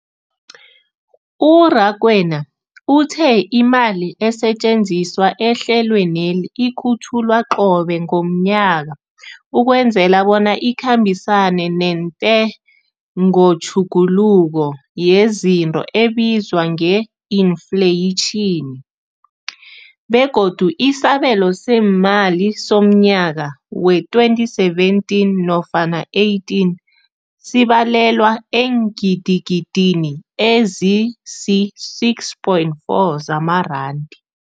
U-Rakwena uthe imali esetjenziswa ehlelweneli ikhutjhulwa qobe ngomnyaka ukwenzela bona ikhambisane nentengotjhuguluko yezinto ebizwa nge-infleyitjhini, begodu isabelo seemali somnyaka we-2017 nofana 18 sibalelwa eengidigidini ezisi-6.4 zamaranda.